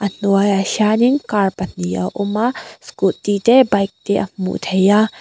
a hnuai ah hianin car pahnih a awm a scooty te bike te a hmuh theih a.